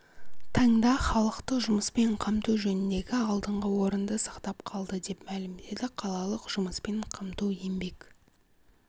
таңда халықты жұмыспен қамту жөніндегі алдыңғы орынды сақтап қалды деп мәлімдеді қалалық жұмыспен қамту еңбек